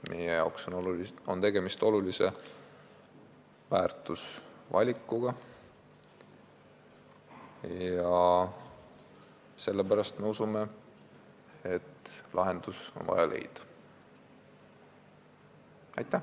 Meie jaoks on tegemist olulise väärtusvalikuga ja sellepärast me usume, et on vaja leida lahendus.